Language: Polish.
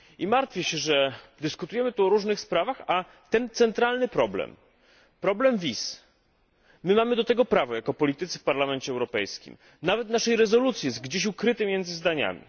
Martwię się, że dyskutujemy tu o różnych sprawach, a ten centralny problem, problem wiz my mamy do tego prawo jako politycy w Parlamencie Europejskim nawet w naszej rezolucji jest gdzieś ukryty między zdaniami.